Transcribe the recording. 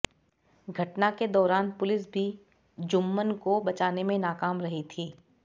घटना के दौरान पुलिस भी जुम्मन को बचाने में नाकाम रही थी